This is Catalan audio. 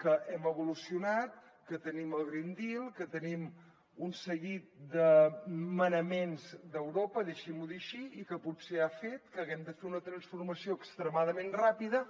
que hem evolucionat que tenim el green deal que tenim un seguit de manaments d’europa deixi m’ho dir així i que potser han fet que haguem de fer una transformació extremadament ràpida